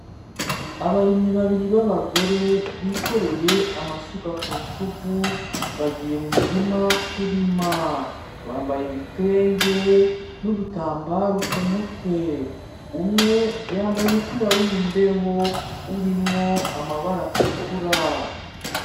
Abarimyi babiri b'abagore bikoreye amasuka ku rutugu bagiye mu mirima kurima, bambaye ibitenge n'udutambaru ku mutwe, umwe yambaye umupira w'imbeho urimwo amabara atukura.